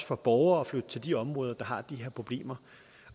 for borgere at flytte til de områder der har de her problemer